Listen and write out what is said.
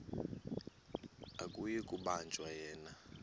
akuyi kubanjwa yena